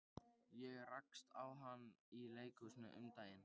Ég rakst á hana í leikhúsi um daginn.